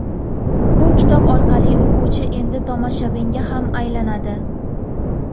Bu kitob orqali o‘quvchi endi tomoshabinga ham aylanadi.